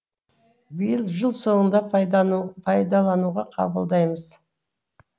биыл жыл соңында пайдалануға қабылдаймыз